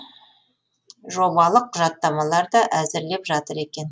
жобалық құжаттамалар да әзірлеп жатыр екен